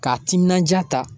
K'a timinandiya ta